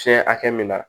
Fiɲɛ hakɛ min na